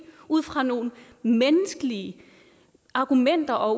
ud fra nogle menneskelige argumenter og